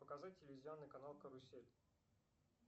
показать телевизионный канал карусель